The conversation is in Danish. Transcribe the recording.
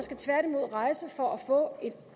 rejser for at få et